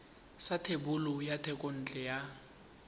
sa thebolo ya thekontle ya